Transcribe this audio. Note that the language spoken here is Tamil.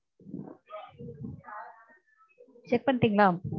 check பண்ணிட்டிங்களா?